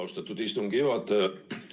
Austatud istungi juhataja!